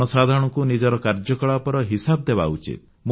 ଜନସାଧାରଣଙ୍କୁ ନିଜର କାର୍ଯ୍ୟକଳାପର ହିସାବ ଦେବା ଉଚିତ